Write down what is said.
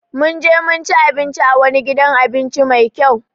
Mun je mun ci abinci a wani gidan abinci Mai kyau.